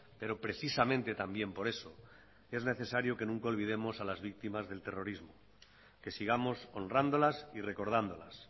pero precisamente también por eso es necesario que nunca olvidemos a las víctimas del terrorismo que sigamos honrándolas y recordándolas